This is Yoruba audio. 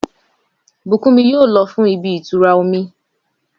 Bùkúnmi yóò lọ fún ibi ìtura omi.